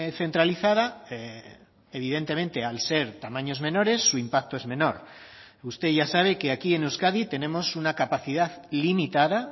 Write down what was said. centralizada evidentemente al ser tamaños menores su impacto es menor usted ya sabe que aquí en euskadi tenemos una capacidad limitada